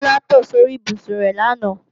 Bọ́lá tò sí orí ibùsùn rẹ làná